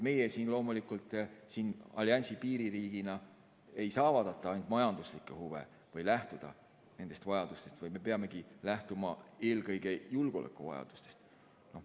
Meie siin loomulikult alliansi piiririigina ei saa vaadata ainult majanduslikke huve või lähtuda nendest vajadustest, vaid me peamegi lähtuma eelkõige julgeolekuvajadustest.